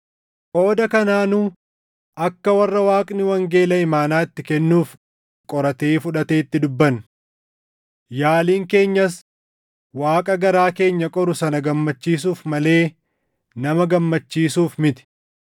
Qooda kanaa nu akka warra Waaqni wangeela imaanaa itti kennuuf qoratee fudhateetti dubbanna. Yaaliin keenyas Waaqa garaa keenya qoru sana gammachiisuuf malee nama gammachiisuuf miti.